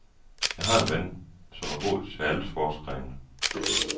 Jeg har en ven, som er god til alle sportsgrene.